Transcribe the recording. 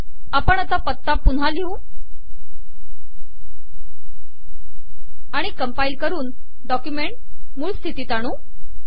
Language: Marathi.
आता आपण पत्ता पुन्हा लिहू आणि कंपाईल करून डॉक्युमेंट मूळ स्थितीत आणू